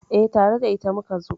Eh, tare da ita muka zo